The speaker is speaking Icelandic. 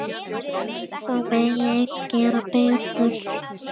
Þó megi enn gera betur.